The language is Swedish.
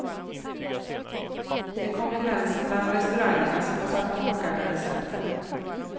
Det är konkurrensen bland restaurangerna som har satt kockarna i centrum.